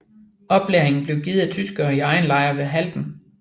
Oplæringen blev givet af tyskere i en egen lejr ved Halden